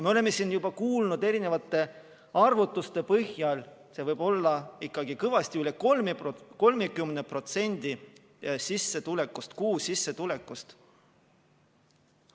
Me oleme siin juba kuulnud erinevate arvutuste põhjal, et see võib olla ikkagi kõvasti üle 30% kuusissetulekust.